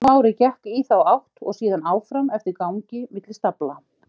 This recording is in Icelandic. Smári gekk í þá átt og síðan áfram eftir gangi milli stafla.